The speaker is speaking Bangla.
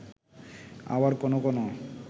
আবার কোনও কোনও